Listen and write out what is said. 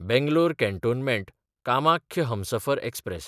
बेंगलोर कँटोनमँट–कामाख्य हमसफर एक्सप्रॅस